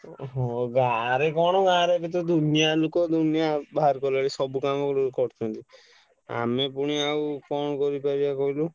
ହଁ ଗାଁ ରେ କଣ ଗାଁ ରେ ବି ତ ଦୁନିଆ ଲୁକ ଦୁନିଆ ବାହାର କଲେ ନି ସବୁ କାମ କରୁଛନ୍ତି ଆମେ ପୁଣି ଆଉ କଣ କରି ପାରିବା କହିଲୁ।